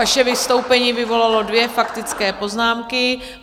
Vaše vystoupení vyvolalo dvě faktické poznámky.